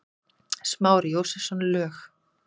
Smári Jósepsson, lög